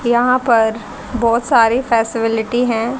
यहां पर बहोत सारी फैसलिटी हैं।